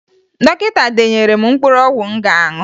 Dọkịta denyere m mkpụrụ ọgwụ m ga-aṅụ